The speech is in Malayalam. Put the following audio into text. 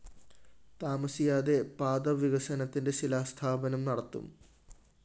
താമസിയാതെ പാത വികസനത്തിന്റെ ശിലാസ്ഥാപനം നടത്തും